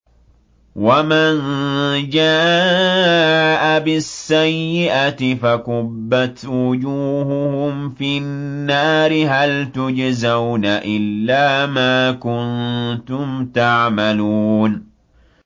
وَمَن جَاءَ بِالسَّيِّئَةِ فَكُبَّتْ وُجُوهُهُمْ فِي النَّارِ هَلْ تُجْزَوْنَ إِلَّا مَا كُنتُمْ تَعْمَلُونَ